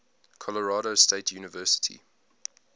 colorado state university